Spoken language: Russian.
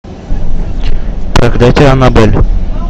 проклятие аннабель